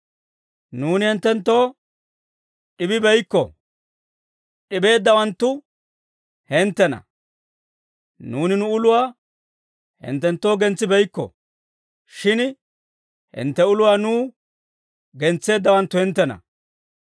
Nuuni hinttenttoo d'ibibeykko; d'ibeeddawanttu hinttena. Nuuni nu uluwaa hinttenttoo gentsibeykko; shin hintte uluwaa nuw gentseeddawanttu hinttena.